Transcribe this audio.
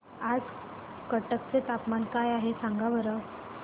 आज कटक चे तापमान काय आहे सांगा बरं